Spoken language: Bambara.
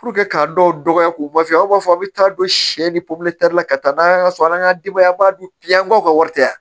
k'a dɔw dɔgɔya k'u ma f'i ye aw b'a fɔ aw bɛ taa don sɛ bɛ la ka taa n'a ye an ka so an ka denbaya dun yan an ka aw ka wari tɛ yan